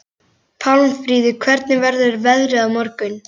Pálmfríður, hvernig verður veðrið á morgun?